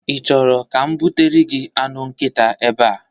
Ị chọrọ ka m butere gị anụ nkita ebea?